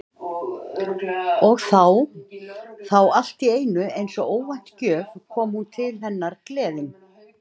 Og þá- þá allt í einu eins og óvænt gjöf kom hún til hennar gleðin.